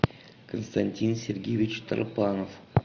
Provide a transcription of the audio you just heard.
константин сергеевич торпанов